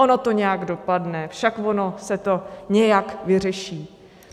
Ono to nějak dopadne, však ono se to nějak vyřeší.